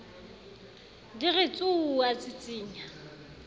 di re tsuuu a tsitsinya